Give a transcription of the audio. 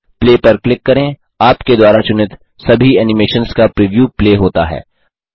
play पर click करें आपके द्वारा चुनित सभी एनिमेशन्स का प्रिव्यू प्ले होता है